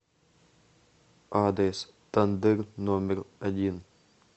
адрес тандыр номер один